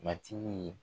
Matigi